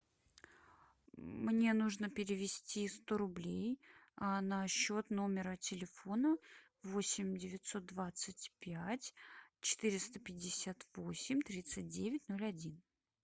мне нужно перевести сто рублей на счет номера телефона восемь девятьсот двадцать пять четыреста пятьдесят восемь тридцать девять ноль один